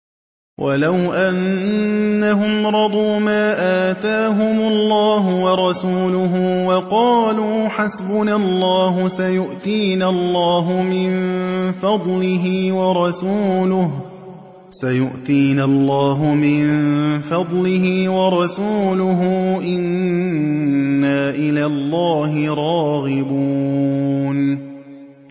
وَلَوْ أَنَّهُمْ رَضُوا مَا آتَاهُمُ اللَّهُ وَرَسُولُهُ وَقَالُوا حَسْبُنَا اللَّهُ سَيُؤْتِينَا اللَّهُ مِن فَضْلِهِ وَرَسُولُهُ إِنَّا إِلَى اللَّهِ رَاغِبُونَ